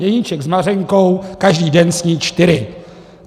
Jeníček s Mařenkou každý den sní čtyři.